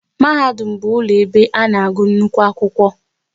Mahadum bụ ụlọ ebe a na-agụ nnukwu akwụkwọ